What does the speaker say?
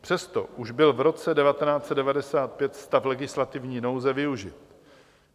Přesto už byl v roce 1995 stav legislativní nouze využit.